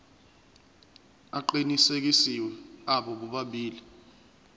aqinisekisiwe abo bobabili